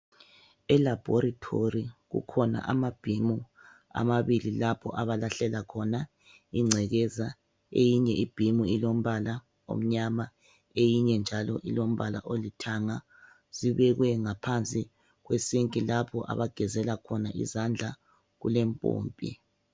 Elaboritori kukhona amabhimu amabili lapho abalahlela khona ingcekeza eyinye ibhimu ulombala omnyama eyinye njalo ilombala olithanga zibekwe ngaphansi kwesinki lapha abagezela khona izandla kulempompi.